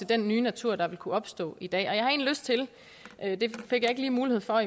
den nye natur det vil kunne opstå i dag jeg fik ikke lige mulighed for